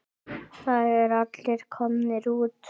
Það eru allir komnir út.